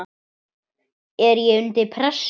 er ég undir pressu?